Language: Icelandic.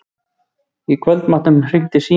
Í kvöldmatnum hringdi síminn.